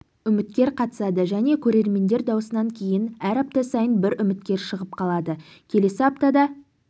үміткер қатысады және көрермендер дауысынан кейін әр апта сайын бір үміткер шығып қалады келесі аптада